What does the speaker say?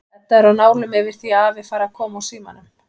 Edda er á nálum yfir því að afi fari að koma úr símanum.